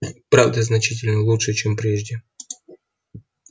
правда значительно лучшего чем прежде